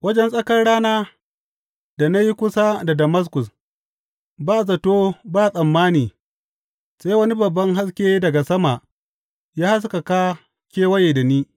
Wajen tsakar rana da na yi kusa da Damaskus, ba zato ba tsammani sai wani babban haske daga sama ya haskaka kewaye da ni.